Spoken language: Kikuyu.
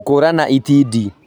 Gũkũũrana itindiĩ